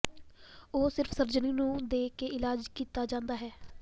ਉਹ ਸਿਰਫ ਸਰਜਰੀ ਨੂੰ ਦੇ ਕੇ ਇਲਾਜ ਕੀਤਾ ਜਾਦਾ ਹੈ